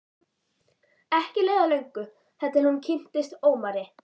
Ekki leið á löngu þar til hún kynntist Ómari.